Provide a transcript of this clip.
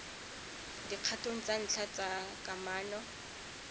dikgatong tsa ntlha tsa kamano